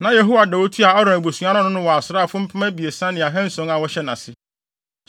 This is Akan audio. Na Yehoiada a otua Aaron abusua no ano no wɔ asraafo mpem abiɛsa ne ahanson a wɔhyɛ nʼase.